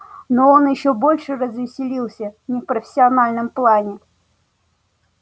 но он ещё больше развеселился не в профессиональном плане